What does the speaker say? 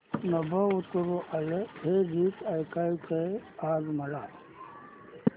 नभं उतरू आलं हे गीत ऐकायचंय आज मला